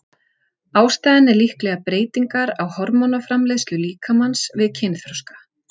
Ástæðan er líklega breytingar á hormónaframleiðslu líkamans við kynþroska.